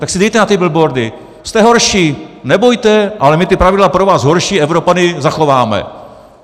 Tak si dejte na ty billboardy: Jste horší, nebojte, ale my ta pravidla pro vás, horší Evropany, zachováme.